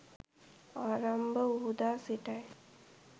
ආරම්භ වූ දා සිටයි.